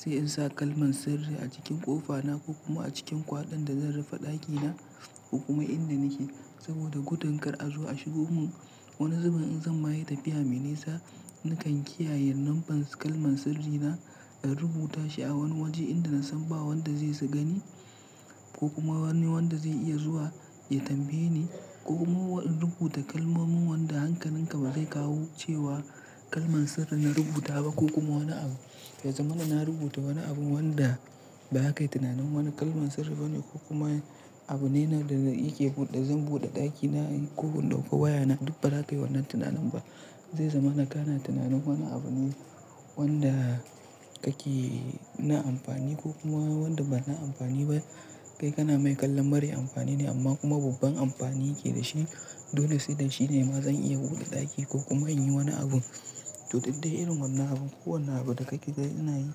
Sai in sa kalman sirri a cikin ƙofa na ko kuma a cikin kwaɗan da zan rufe ɗaki na ko kuma inda nake. Saboda gudun kar a zo a shigo mun. Wani zubin in zan ma yi tafiya me nisa, nakan kiyaye lambar kalman sirri na, in rubuta shi a wani waje inda na san ba wanda zasu gani ko kuma wani wanda zai iya zuwa ya tambaye ni. Ko kuma in rubuta kalmomin wanda hankalin ka ba zai kawo cewa kalman sirri na rubuta ba ko kuma wani abu. Yazamana na rubuta wani abun wanda ba ka yi tunanin wani kalman sirri ba ne ko kuma abu ne na da yake buɗe. Zan buɗe ɗaki na ko in dauko waya na duka ba za ka yi wannan tunanin ba. Ya zama na kana tunanin wani abune wanda kake na amfani ko kuma wanda bana amfani ba kai kana mai kallon mara amfani amma kuma babban amfani ke dashi. Dole sai da shine ma zan iya buɗe ɗaki ko kuma in yi wani abu. To duk dai irin wannan abun ko wannan abun da kake ganin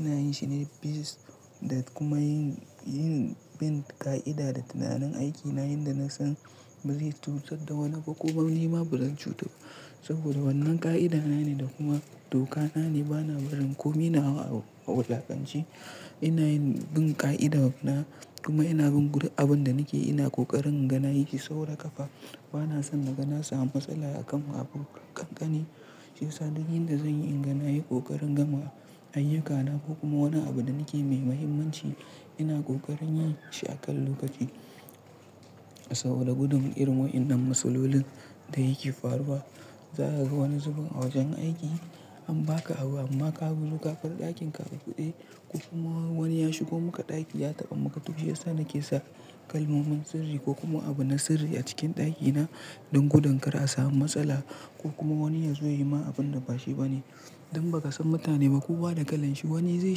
ana yin shi ne biz da kuma yin, yin bin ka'ida da tunanin aikin na, inda na san bari cutar da wani ko wani ma bura cutar. Saboda wannan ka'ida na ne da kuma doka na ne. Bana barin komi na wulaƙance. Ina yin bin ka'ida na kuma ina bin abin da nake yi. Ina kokarin inga nayi shi saura kafa. Bana son naga na samu matsala a kan wa abu ƙanƙani. Shi yasa duk inda zanyi inga nayi ƙoƙarin gama ayyukana ko kuma wani abu da na ke mai mahimmanci, ina ƙoƙarin yin shi a kan lokaci. Saboda gudun irin wa'innan matsalolin da yake faruwa. Za ka ga wani zubin a wajen aiki an baka abu amma ka zo ka tarar ɗakin a ka buɗe ko kuma wani ya shigo maka ɗaki ya taɓa maka duk shi yasa nake sa kalmomin sirri ko kuma abu na sirri a cikin ɗaki na don gudun kar a samu matsala ko kuma wani ya zo ya yi ma abun da ba shi ba ne. Don baka san mutane ba kowa da kalan shi. Wani zai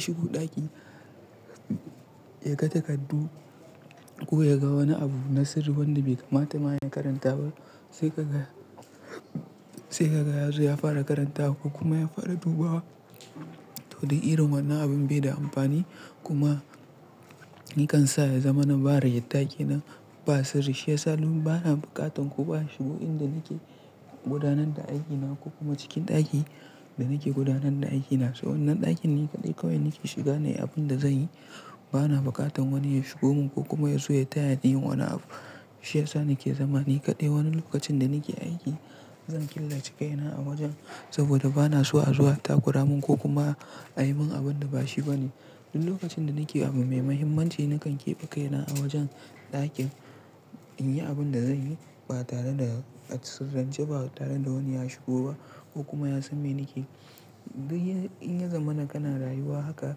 shigo ɗaki ya ga takardu ko ya ga wani abu na sirri wanda bai kamata ma ya karanta ba sai kaga, sai kaga ya zo ya fara karanta ko kuma ya fara dubawa. To don irin wannan abin bai da amfani kuma nakan sa ya zama na barin ɗaki na ba sirri. Shi yasa ni bana buƙatan kowa ya shiga inda nake gudanar da aiki na ko kuma cikin ɗaki da nake gudanar da aiki na. So wannan ɗakin ni kaɗai kawai nake shiga ne, abun da zanyi bana buƙatar wani ya shigo mun ko kuma ya zo ya tayani yin wani abu. Shi yasa nake zama ni kaɗai wani lokacin da nake aiki. Zan killace kai na a wajen saboda bana so a zo a takura mun ko kuma a yi mun abun da ba shi ba ne. Duk lokacin da nake abu mai mahimmanci, nakan keɓe kai na a wajen ɗakin, in yi abin da zan yi ba tare da a sirran ce, ba tare da wani ya shigo ba ko kuma ya san me nake yi. Duk in ya zama kana rayuwa haka,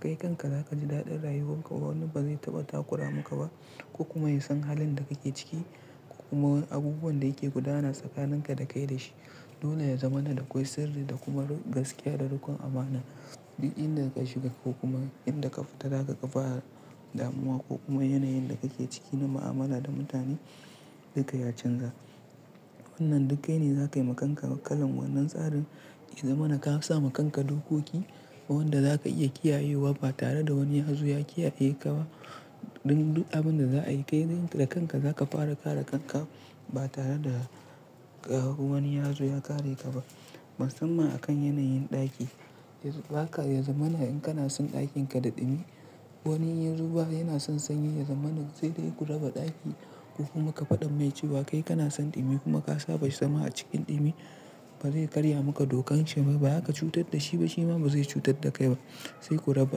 kai kanka za ka ji daɗin rayuwan ka. Wani ba zai taɓa takura maka ba, ko kuma ya san halin da kake ciki ko kuma abubuwan da kike gudana tsakaninka da shi. Dole ya zama na dakwai sirri da kuma gaskiya da riƙon amana. Duk inda ka shiga ko kuma inda ka fita, za ka fara damuwa ko kuma yanayin da kake ciki na mu'amala da mutane duka ya canza. Wannan duk kai ne zaka ma kanka kalan wannan tsarin ya zamana kasa kanka dokoki wanda za ka iya kiyayewa ba tare da wani ya zo ya kiyaye ka ba. Don duk abun da za'a yi kai zaka yi da kanka. Za ka fara kare kanka ba tare da wani ya zo ya kare ka ba. Musamman a kan yanayin ɗaki. Ya baka ya zama na in kana son ɗakin ka daɗimi wani ya zo ba yana son sanyi ya zama na sai dai ku raba ɗaki ko kuma ka faɗa mai cewa kai kana son ɗimi kuma ka saba shi sama a cikin ɗimi. Ba za ka karya maka dokar shi ba. Ba za ka cutar da shi ba; shi ma ba zai cutar da kai ba. Sai ku raba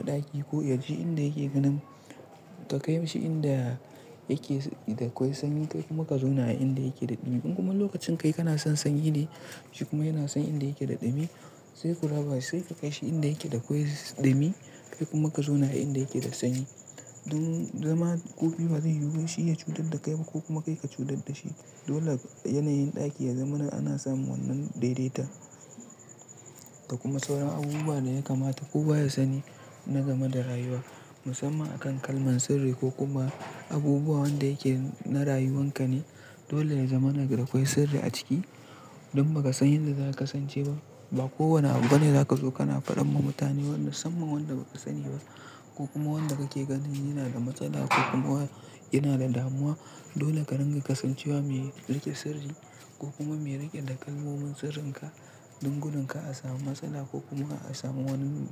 ɗaki ko ya je inda yake ganin ka kai shi inda yake da akwai sanyi. Kai kuma ka zo na inda yake da ɗimi. In kuma lokacin kai kana son sanyi ne, shi kuma yana son inda yake da ɗimi sai ku raba. Sai ka kai shi inda yake da akwai ɗimi kai kuma ka zo na inda yake da sanyi. Idan zama ku biyu ba zai yiwu shi ya cutar da kai ba ko kuma kai ka cutar da shi. Dole yanayin ɗaki ya zama na ana samun wannan daidaita da kuma sauran abubuwa da ya kamata ko ba ya sani na game da rayuwa. Musamman a kan kalman sirri ko kuma abubuwa wanda yake na rayuwan ka ne. Dole ya zama na da akwai sirri a ciki don ba ka san yadda za kasance ba. Ba kowane abu bane za ka zo kana faɗar ma mutane wanda musamman wanda ba ka sani ba ko kuma wanda kake ganin yana da matsala ko kuma yana da damuwa. Dole ka dinga kasancewa mai rike sirri ko kuma mai rike da kalmomin sirrin ka don gudun kar a samu matsala ko kuma a samu wani.